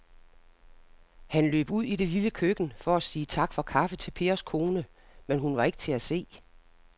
Han løb ud i det lille køkken for at sige tak for kaffe til Pers kone, men hun var ikke til at se.